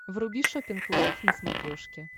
вруби шоппинг лайв на смотрешке